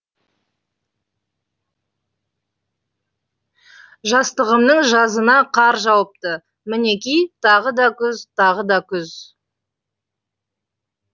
жастығымның жазына қар жауыпты мінеки тағы да күз тағы да күз